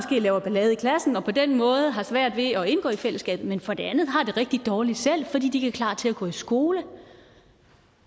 laver ballade i klassen og på den måde har svært ved at indgå i fællesskabet men som for det andet har det rigtig dårligt selv fordi de ikke er klar til at gå i skole